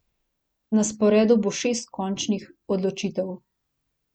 Na sporedu bo šest končnih odločitev.